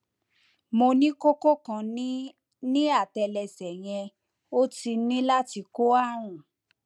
mo ní kókó kan ní ní àtẹlẹsẹ yẹn ó ti ní láti kó ààrùn